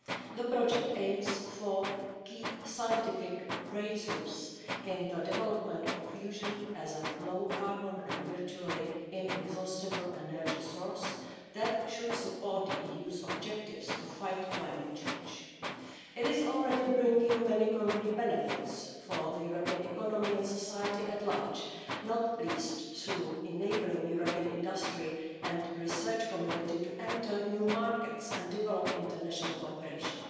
The project aims for key scientific breakthroughs in the development of fusion as a low carbon and virtually inexhaustible energy source that should support the EU's objectives to fight climate change. It is already bringing many concrete benefits for the European economy and society at large, not least through enabling the European industry and research community to enter new markets and develop international cooperation.